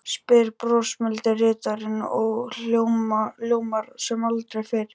spyr brosmildi ritarinn og ljómar sem aldrei fyrr.